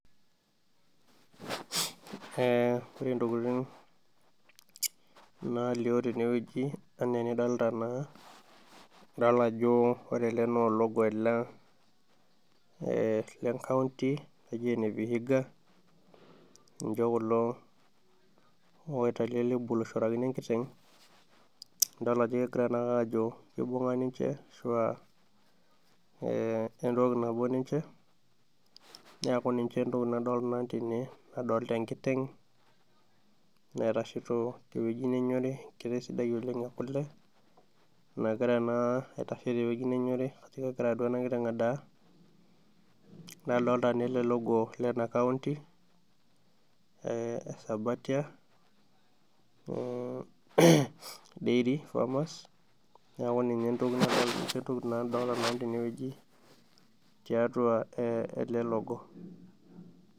Ee ore intokitin naalio tenewoji enaa enidolita naa, idol ajo ore ele naa ologo ele enkaunti naji ene vihiga ninje kulo oitau ele lebo aishorakino enkiteng' ,idol naake ajo kegira ajo kibunga ninje entoki nabo ninje, neeku ninje entoki nadoolta nanu tene, adoolta enkiteng' naitashito tewoji nenyorri tewoji enkiteng' sidai ekule nagira naa aitasho tewoji nenyorri ashu aakegira duo ena kiteng adaa, nadoolta naa ele logo lena kaunti esabatia dairy farmers, neeku ninje intokitin nadoolta nanu tenewoji tiatua ele logo.